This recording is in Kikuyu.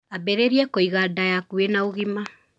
Ambĩrĩria kũiga nda yaku ina ũgima.